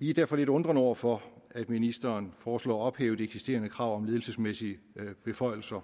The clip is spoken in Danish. vi står derfor lidt undrende over for at ministeren foreslår at ophæve de eksisterende krav om ledelsesmæssige beføjelser